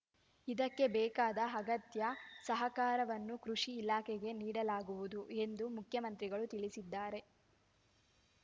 ಇದಕ್ಕೆ ಬೇಕಾದ ಅಗತ್ಯ ಸಹಕಾರವನ್ನು ಕೃಷಿ ಇಲಾಖೆಗೆ ನೀಡಲಾಗುವುದು ಎಂದು ಮುಖ್ಯಮಂತ್ರಿಗಳು ತಿಳಿಸಿದ್ದಾರೆ